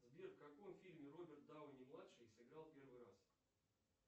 сбер в каком фильме роберт дауни младший сыграл первый раз